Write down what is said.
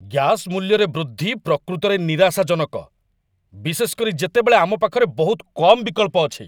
Gas ମୂଲ୍ୟରେ ବୃଦ୍ଧି ପ୍ରକୃତରେ ନିରାଶାଜନକ, ବିଶେଷ କରି ଯେତେବେଳେ ଆମ ପାଖରେ ବହୁତ କମ୍ ବିକଳ୍ପ ଅଛି।